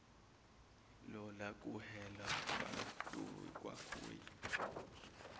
lola kuhelwa kwakhoi